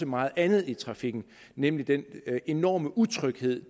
meget andet i trafikken nemlig den enorme utryghed